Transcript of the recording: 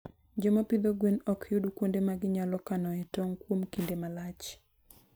Joma pidho gwen ok yud kuonde ma ginyalo kanoe tong' kuom kinde malach.